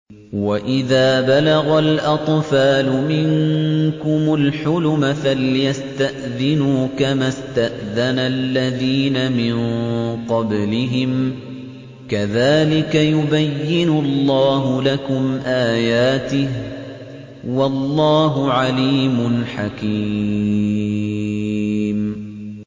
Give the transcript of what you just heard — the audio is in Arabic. وَإِذَا بَلَغَ الْأَطْفَالُ مِنكُمُ الْحُلُمَ فَلْيَسْتَأْذِنُوا كَمَا اسْتَأْذَنَ الَّذِينَ مِن قَبْلِهِمْ ۚ كَذَٰلِكَ يُبَيِّنُ اللَّهُ لَكُمْ آيَاتِهِ ۗ وَاللَّهُ عَلِيمٌ حَكِيمٌ